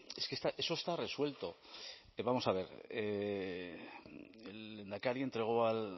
es que eso está resuelto vamos a ver el lehendakari entregó al